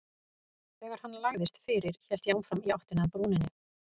Þegar hann lagðist fyrir hélt ég áfram í áttina að brúninni.